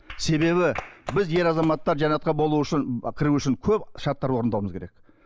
себебі біз ер азаматтар жәннатқа болу үшін кіру үшін көп шарттар орындауымыз керек